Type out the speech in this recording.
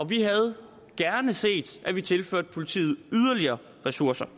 vi havde gerne set at vi tilførte politiet yderligere ressourcer